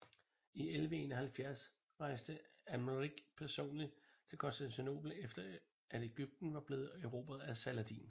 I 1171 rejste Amalric personligt til Konstantinopel efter at Ægypten var blevet erobret af Saladin